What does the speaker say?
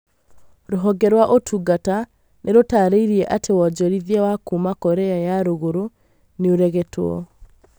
Rũhonge rwa ũtungata nĩrũtarĩirie atĩ wonjorithia wa kuuma Korea ya rũrũgũrũ nĩũregetwo